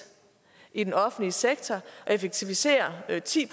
i den offentlige sektor og effektivisere med ti